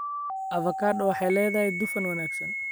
Avocados waxay leedahay dufan wanaagsan.